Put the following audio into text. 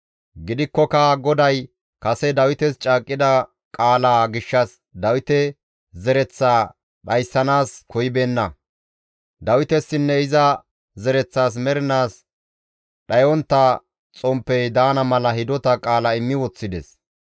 Gidikkoka GODAY kase Dawites caaqqida qaalaa gishshas Dawite zereththaa dhayssanaas koyibeenna; Dawitesinne iza zereththas mernaas dhayontta xomppey daana mala hidota qaala immi woththides.